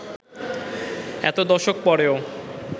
এত দশক পরেও